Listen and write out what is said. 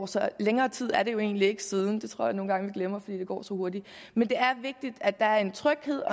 så længere tid er det jo egentlig ikke siden det tror jeg nogle gange at vi glemmer fordi det går så hurtigt men det er vigtigt at der er en tryghed